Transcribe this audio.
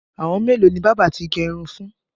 Àwọn mélòó ni bábà ti gẹ irun fún?